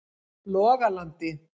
Logalandi